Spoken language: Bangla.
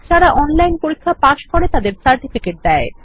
যারা অনলাইন পরীক্ষা পাস করে তাদের সার্টিফিকেট দেয়